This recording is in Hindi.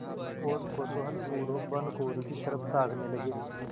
और कौतूहलपूर्वक भानुकुँवरि की तरफ ताकने लगे